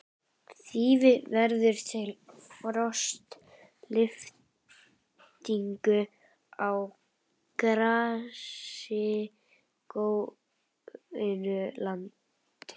Þýfi verður til við frostlyftingu á grasigrónu landi.